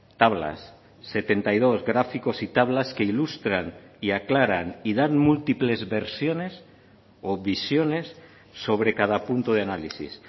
tablas setenta y dos gráficos y tablas que ilustran y aclaran y dan múltiples versiones o visiones sobre cada punto de análisis